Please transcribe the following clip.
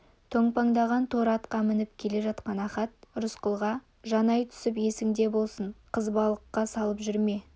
томпаңдаған торы атқа мініп келе жатқан ахат рысқұлға жанай түсіп есіңде болсын қызбалыққа салып жүрме құр